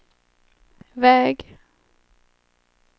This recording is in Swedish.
väg